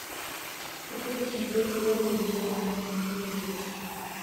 хочу посмотреть первый вегетарианский на телевизоре